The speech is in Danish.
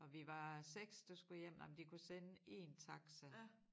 Og vi var 6 der skulle hjem om de kunne sende én taxa